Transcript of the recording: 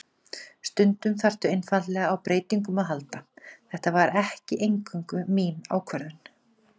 Stundum þarftu einfaldlega á breytingum að halda, þetta var ekki eingöngu mín ákvörðun.